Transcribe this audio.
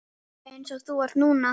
Eins og þú ert núna.